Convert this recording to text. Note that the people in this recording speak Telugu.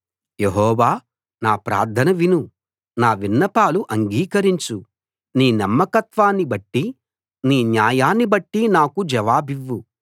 యెహోవా నా ప్రార్థన విను నా విన్నపాలు అంగీకరించు నీ నమ్మకత్వాన్ని బట్టి నీ న్యాయాన్ని బట్టి నాకు జవాబివ్వు